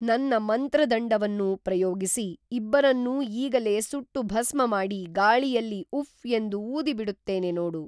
ನನ್ನ ಮಂತ್ರದಂಡವನ್ನು ಪ್ರಯೋಗಿಸಿ ಇಬ್ಬರನ್ನೂ ಈಗಲೇ ಸುಟ್ಟು ಭಸ್ಮಮಾಡಿ ಗಾಳಿಯಲ್ಲಿ ಉಫ್ ಎಂದು ಊದಿ ಬಿಡುತ್ತೇನೆ ನೋಡು